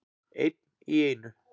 Einn í einu.